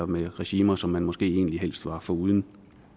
med regimer som man måske egentlig helst var foruden